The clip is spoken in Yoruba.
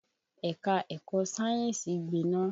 Ẹ̀ka-ẹ̀kọ sáyẹ́nsì gbiná